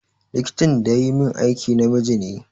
Likitan da yayi min aiki namiji ne.